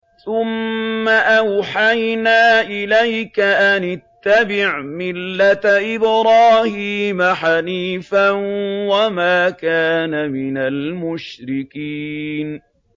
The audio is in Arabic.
ثُمَّ أَوْحَيْنَا إِلَيْكَ أَنِ اتَّبِعْ مِلَّةَ إِبْرَاهِيمَ حَنِيفًا ۖ وَمَا كَانَ مِنَ الْمُشْرِكِينَ